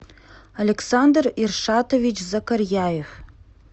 александр иршатович закарьяев